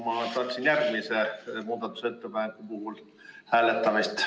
Ma tahaksin järgmise muudatusettepaneku puhul hääletamist.